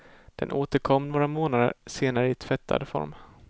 Den återkom några månader senare i tvättad form.